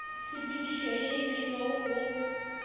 tshepedišo ye e beilwego go